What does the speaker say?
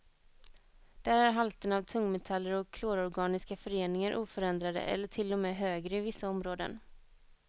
Där är halterna av tungmetaller och klororganiska föreningar oförändrade eller till och med högre i vissa områden.